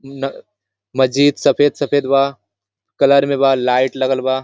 न मस्जिद सफेद-सफेद बा कलर में बा लाइट लगल बा।